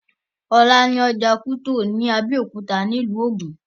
Ọ̀la ni ọjà Kútọ̀ ní Abẹ́òkúta ní ìlú Ògùn